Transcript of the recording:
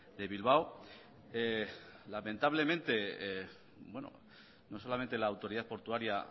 de bilbao lamentablemente no solamente la autoridad portuaria